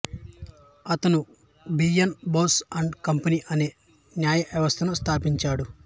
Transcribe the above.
అతను B N Bose and company అనే న్యాయ సంస్థను స్థాపించాడు